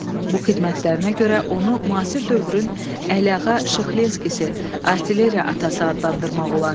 Bu xidmətlərinə görə onu müasir dövrün Əliağa Şıxlinskisi, artilleriya atası adlandırmaq olar.